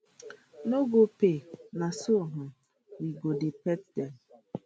no go pay na so um we go dey pet dem